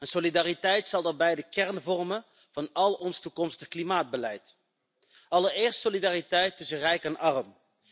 Solidariteit zal daarbij de kern vormen van al ons toekomstig klimaatbeleid. Allereerst, solidariteit tussen rijk en arm.